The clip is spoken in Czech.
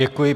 Děkuji.